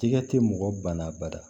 Tigɛ te mɔgɔ ba la bada